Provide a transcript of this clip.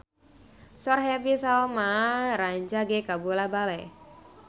Sora Happy Salma rancage kabula-bale